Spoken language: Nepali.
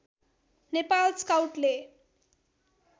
नेपाल स्काउटले